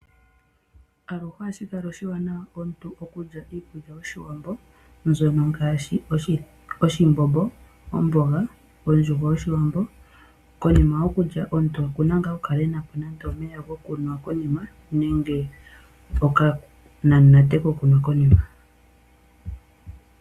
Aluhe ohashi kala oshiwanawa komuntu okulya iikulya yOshiwambo mbyono ngaashi oshimbombo, omboga, ondjuhwa yOshiwambo nokonima yokulya omuntu oku na gaa okukala e na po nando omeya gokunwa nenge okanamunate kokunwa.